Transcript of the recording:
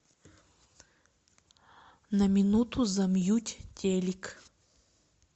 на минуту замьють телик